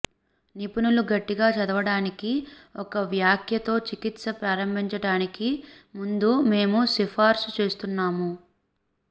నిపుణులు గట్టిగా చదవడానికి ఒక వ్యాఖ్య తో చికిత్స ప్రారంభించటానికి ముందు మేము సిఫార్సు చేస్తున్నాము